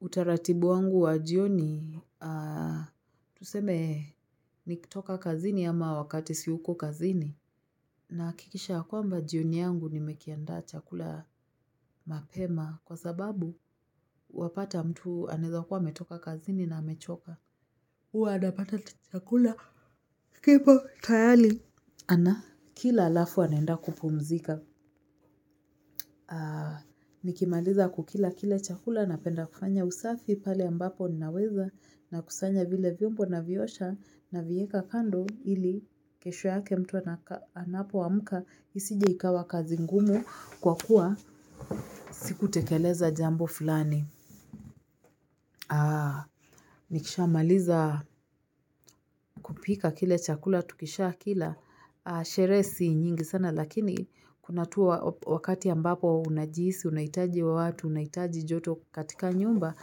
Utaratibu wangu wa jioni tuseme nikitoka kazini ama wakati siyuko kazini nahakikisha ya kwamba jioni yangu nimekianda chakula mapema kwa sababu wapata mtu aneza kuwa ametoka kazini na amechoka huwa anapata chakula kipo tayari ana kila alafu anaenda kupumzika aa nikimaliza kukila kile chakula napenda kufanya usafi pale ambapo ninaweza na kusanya vile vyombo na vyosha na vieka kando ili kesho yake mtu anapo amuka isije ikawa kazi ngumu kwa kuwa siku tekeleza jambo fulani nikisha maliza kupika kile chakula, tukisha kila sherehe si nyingi sana lakini kuna tu wakati ambapo unajihisi, unahitaji watu, unahitaji joto katika nyumba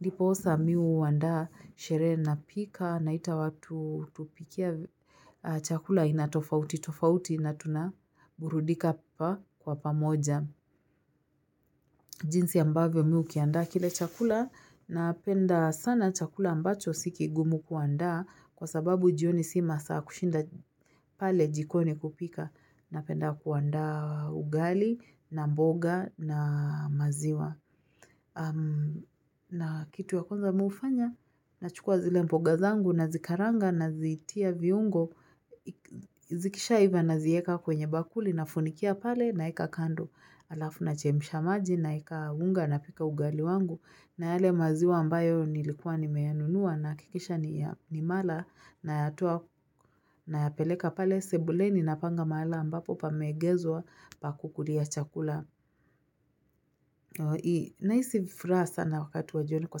ndiposa mimi huwanda sherehe na pika na ita watu tupikie chakula aina tofauti tofauti na tunaburudika pa kwa pamoja. Jinsi ambavyo mimi hukianda kile chakula na penda sana chakula ambacho sikigumu kuanda kwa sababu jioni si masaa ya kushinda pale jikoni kupika na penda kuanda ugali na mboga na maziwa. Na kitu ya kwanza mimi hufanya na chukua zile mboga zangu na zikaranga na zitia viungo zikisha iva na zieka kwenye bakuli na funikia pale naeka kando alafu na chemsha maji na eka unga na pika ugali wangu nayale maziwa ambayo nilikuwa nimeyanunua na hakikisha ni mala na na yapeleka pale sebuleni na panga mala ambapo pa meegezwa pa kukulia chakula na hisi vifuraha sana wakati wajioni. Kwa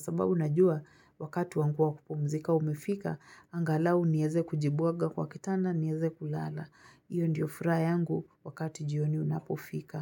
sababu unajua wakati wangu wakupumzika umefika angalau nieze kujibuaga kwa kitanda nieze kulala. Iyo ndiyo furaha yangu wakati jioni unapofika.